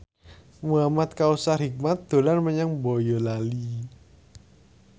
Muhamad Kautsar Hikmat dolan menyang Boyolali